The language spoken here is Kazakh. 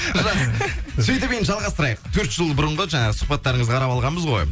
жақсы сөйтіп енді жалғастырайық төрт жыл бұрынғы жаңағы сұхбаттарыңызды қарап алғанбыз ғой